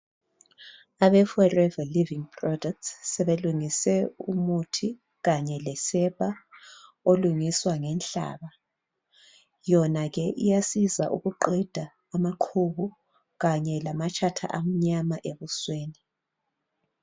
Abe Forever Living Products sebelungise umuthi kanye lesepa olungiswa nge nhlaba. Yona ke iyasiza ukuqeda amaqhubu kanye lamatshatha amnyama ebusweni.